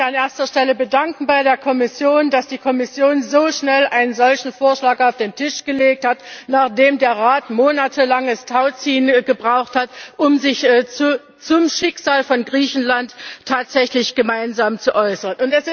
Ich möchte mich an erster Stelle bei der Kommission bedanken, dass sie so schnell einen solchen Vorschlag auf den Tisch gelegt hat, nachdem der Rat monatelanges Tauziehen gebraucht hat, um sich zum Schicksal von Griechenland tatsächlich gemeinsam zu äußern.